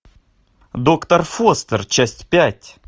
доктор фостер часть пять